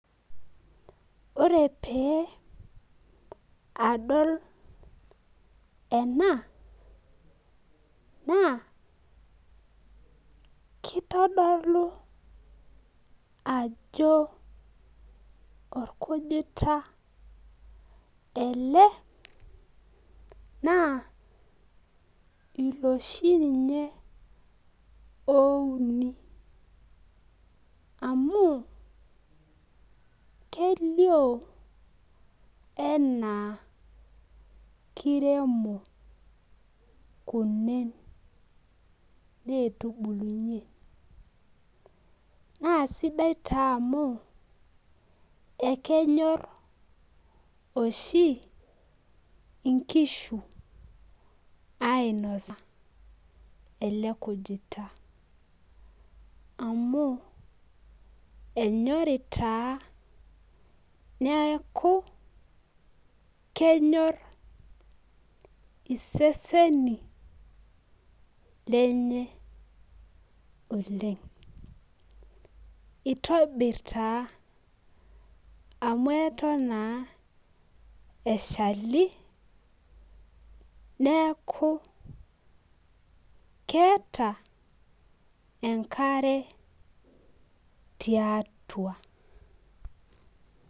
Ore pee, adol ena ,naa kitodolu ajo orkujuta ele, naa iloshi ninye ouni. amu kelioo enaa kiremo. kunen. neetubulunye. naa sidai taa amu. ekenyor oshi nkishu ainosa ele kujita. amu enyorri taa. neeku kenyor. iseseni lenye oleng. itobir taa amu Eton taa eshali. neeku keeta enkare tiatua.